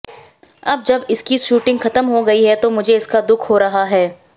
अब जब इसकी शूटिंग खत्म हो गई है तो मुझे इसका दुख हो रहा है